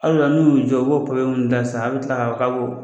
Al'o la n'u y'u jɔ u b'o papiye ta sisan a bi kila ka fɔ ko